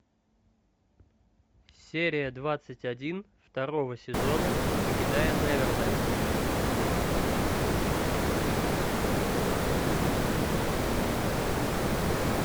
серия двадцать один второго сезона покидая неверленд